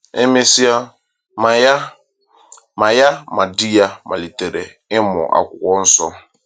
E mesịa, ma ya ma ya ma di ya malitere ịmụ Akwụkwọ Nsọ.